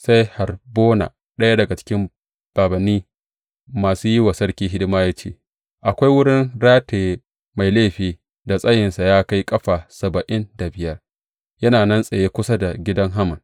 Sai Harbona, ɗaya daga cikin bābānni masu yi wa sarki hidima ya ce, Akwai wurin rataye mai laifi da tsayinsa ya kai ƙafa saba’in da biyar yana nan tsaye kusa da gidan Haman.